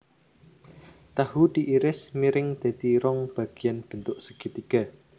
Tahu diiris miring dadi rong bagian bentuk segitiga